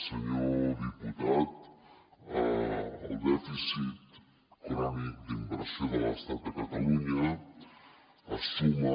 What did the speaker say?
senyor diputat el dèficit crònic d’inversió de l’estat a catalunya es suma